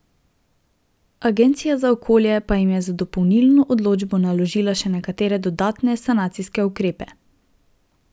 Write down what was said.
Agencija za okolje pa jim je z dopolnilno odločbo naložila še nekatere dodatne sanacijske ukrepe.